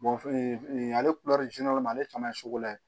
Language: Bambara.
ale ale caman ye sugu la ye